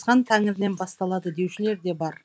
хан тәңірінен басталады деушілер де бар